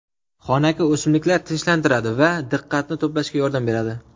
Xonaki o‘simliklar tinchlantiradi va diqqatni to‘plashga yordam beradi.